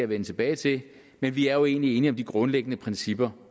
vende tilbage til men vi er jo egentlig enige om de grundlæggende principper